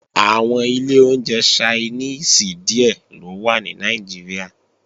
Àwọn ilé oúnjẹ Ṣainíìsì díè ló wà ní Nàìjíríà